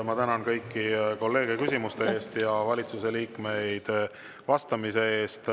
Ma tänan kõiki kolleege küsimuste eest ja valitsuse liikmeid vastamise eest.